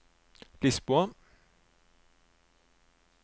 Lisboa